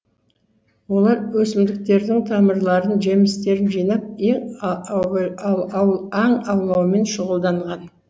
олар өсімдіктердің тамырларын жемістерін жинап аң аулаумен шұғылданған